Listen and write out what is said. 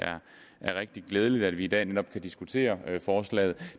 er rigtig glædeligt at vi i dag netop kan diskutere forslaget